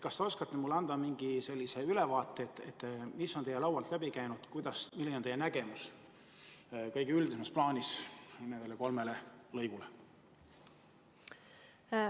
Kas te oskate mulle anda mingi ülevaate sellest, mis on teie laualt läbi käinud ja milline on teie nägemus kõige üldisemas plaanis nendes kolmes töölõigus?